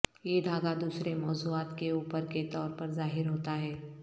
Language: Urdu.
یہ دھاگہ دوسرے موضوعات کے اوپر کے طور پر ظاہر ہوتا ہے